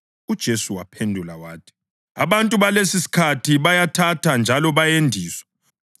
UJesu waphendula wathi, “Abantu balesisikhathi bayathatha njalo bayendiswa.